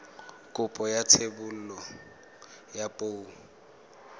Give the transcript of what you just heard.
kopo ya thebolo ya poo